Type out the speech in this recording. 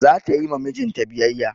Za ta yi ma mijin ta biyayya.